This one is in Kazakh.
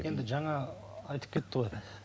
енді жаңа айтып кетті ғой